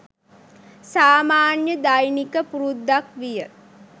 සාමාන්‍ය දෛනික පුරුද්දක් විය.